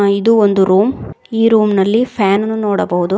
ಆ ಇದು ಒಂದು ರೂಮ್ ಈ ರೂಮ್ ನಲ್ಲಿ ಫ್ಯಾನ್ ಅನ್ನು ನೋಡಬಹುದು.